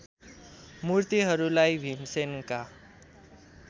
मूर्तिहरूलाई भीमसेनका